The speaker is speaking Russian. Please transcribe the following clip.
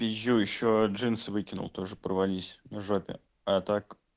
пизжу ещё джинсы выкинул тоже порвались на жопе а так